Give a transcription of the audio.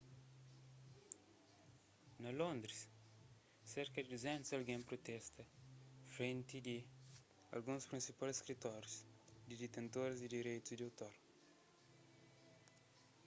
na londres serka di 200 algen protesta frenti di alguns prinsipal skritórius di ditentoris di direitus di otor